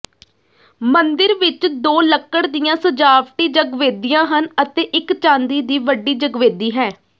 ਮੰਦਿਰ ਵਿਚ ਦੋ ਲੱਕੜ ਦੀਆਂ ਸਜਾਵਟੀ ਜਗਵੇਦੀਆਂ ਹਨ ਅਤੇ ਇਕ ਚਾਂਦੀ ਦੀ ਵੱਡੀ ਜਗਵੇਦੀ ਹੈ